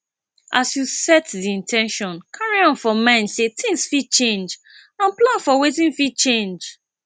as you set di in ten tion carry am for mind sey things fit change and plan for wetin fit change